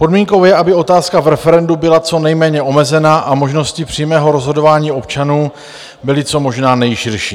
Podmínkou je, aby otázka v referendu byla co nejméně omezená a možnosti přímého rozhodování občanů byly co možná nejširší.